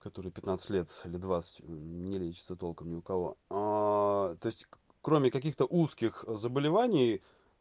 который пятнадцать лет или двадцать не лечится толком ни у кого то есть кроме каких-то узких заболеваний